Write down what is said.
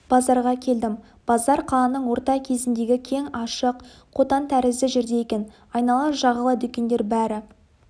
базарға келдім базар қаланың орта кезіндегі кең ашық қотан тәрізді жерде екен айнала жағалай дүкендер бәрі